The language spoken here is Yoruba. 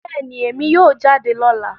Bẹẹni, Emi yoo jade lọla